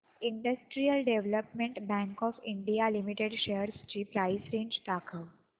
industrial development bank of India limited shares ची price range दाखव